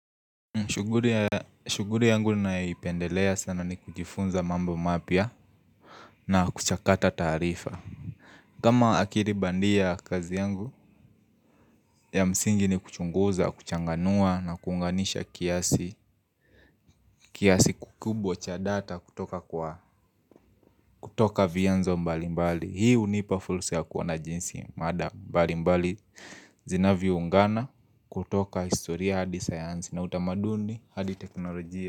Shuguli yangu ninayo ipendelea sana ni kujifunza mambo mapia na kuchakata taarifa Kama akili bandia kazi yangu ya msingi ni kuchunguza, kuchanganua na kuunganisha kiasi kiasi kikubwa cha data kutoka kwa kutoka vianzo mbali mbali hii hunipa fursa ya kuona jinsi mada mbali mbali zinavyo ungana kutoka historia hadi sayansi na utamaduni hadi teknolojia.